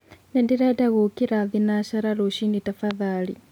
nĩndĩrenda gũũkĩra thĩnacara rũcĩĩni tafadhalĩ